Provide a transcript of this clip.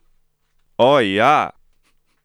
O, ja!